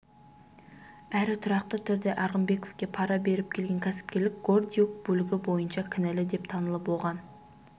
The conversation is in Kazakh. әрі тұрақты түрде арғынбековке пара беріп келген кәсіпкер гордиюк бөлігі бойынша кінәлі деп танылып оған